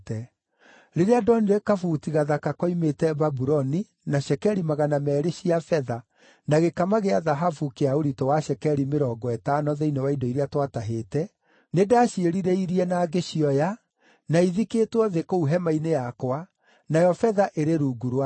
Rĩrĩa ndonire kabuti gathaka koimĩte Babuloni, na cekeri magana meerĩ cia betha, na gĩkama gĩa thahabu kĩa ũritũ wa cekeri mĩrongo ĩtano thĩinĩ wa indo iria twatahĩte, nĩndaciĩrirĩirie na ngĩcioya, na ithikĩtwo thĩ kũu hema-inĩ yakwa, nayo betha ĩrĩ rungu wacio.”